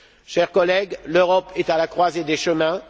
Chers collègues, l'Europe est à la croisée des chemins.